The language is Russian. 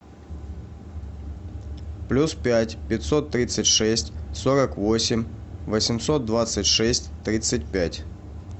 плюс пять пятьсот тридцать шесть сорок восемь восемьсот двадцать шесть тридцать пять